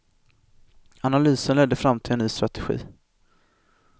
Analysen ledde fram till en ny strategi.